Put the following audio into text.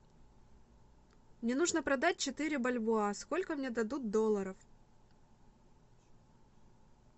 мне нужно продать четыре бальбоа сколько мне дадут долларов